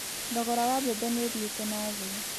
Thogora wa mbembe nĩ ũthiĩte na thĩĩ.